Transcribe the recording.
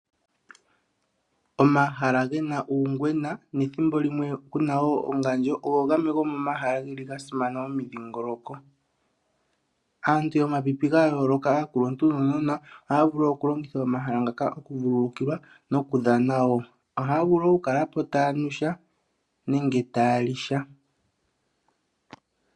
Omahala gena uungwena nethimbo limwe kuna wo ongandjo ogo gamwe gomomahala geli gasimana momidhingoloko. Aantu yomapipi gayooloka, aakuluntu nuunona ohaya vulu okulongitha omahala ngaka okuvululukilwa nokudhana wo, ohaya vulu okukala po taya nu sha nenge taya li sha.